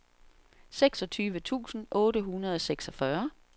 seksogtyve tusind otte hundrede og seksogfyrre